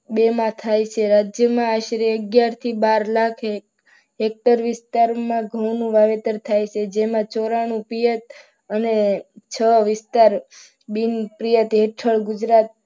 બેમાં થાય છે રાજ્યમાં આશરે અગિયારથી બાર લાખ હેક્ટર વિસ્તારમાં ઘઉંનો વાવેતર થાય છે. જેમાં ચોરાણું પીયત હેઠળ અને છ વિસ્તાર બીન પીયત હેઠળ ગુજરાત